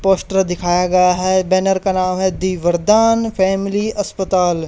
Poster दिखाया गया है बैनर का नाम है दी वरदान फैमिली अस्पताल।